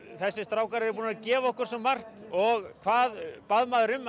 þessir strákar eru búnir að gefa okkur svo margt og hvað bað maður um að